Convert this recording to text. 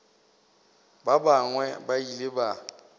ba bangwe ba ile ba